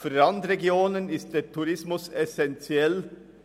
Für Randregionen ist der Tourismus essenziell.